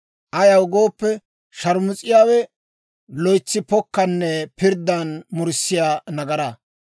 Ayaw gooppe, shaarmus'iyaawe loytsi pokkanne pirddan murissiyaa nagaraa.